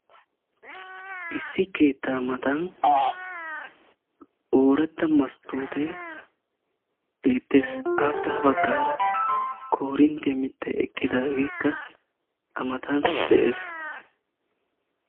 issi keettaa matan ooratta masttoote beettes. aappe ha baggaara koorinttiya mittay eqqidaagekka a matan de'es.